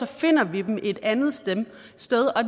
finder vi dem et andet sted og